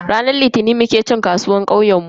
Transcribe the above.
Ranar Litinin muke cin kasuwar kauyenmu.